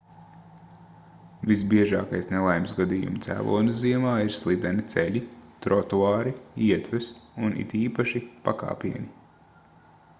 visbiežākais nelaimes gadījumu cēlonis ziemā ir slideni ceļi trotuāri ietves un it īpaši pakāpieni